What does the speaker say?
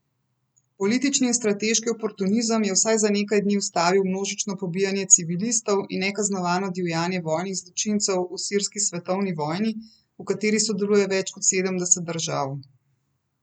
Politični in strateški oportunizem je vsaj za nekaj dni ustavil množično pobijanje civilistov in nekaznovano divjanje vojnih zločincev v sirski svetovni vojni, v kateri sodeluje več kot sedemdeset držav.